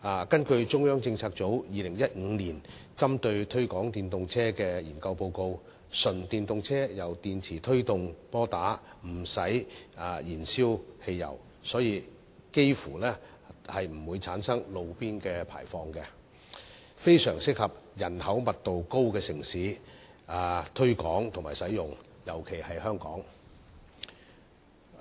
根據中央政策組於2015年針對推廣電動車的研究報告，純電動車由電池推動摩打，無須燃燒汽油，所以幾乎不會產生路邊排放，相當適合於人口密度高的城市推廣使用，特別是香港。